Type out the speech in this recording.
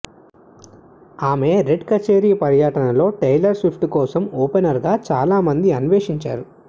ఆమె రెడ్ కచేరి పర్యటనలో టేలర్ స్విఫ్ట్ కోసం ఓపెనర్గా చాలామంది అన్వేషించారు